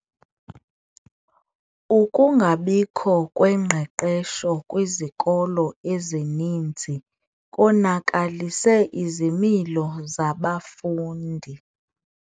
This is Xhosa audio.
Ukungabikho kwengqeqesho kwizikolo ezininzi konakalise izimilo zabafundi.